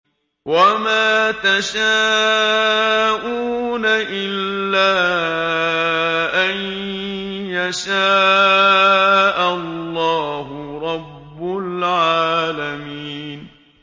وَمَا تَشَاءُونَ إِلَّا أَن يَشَاءَ اللَّهُ رَبُّ الْعَالَمِينَ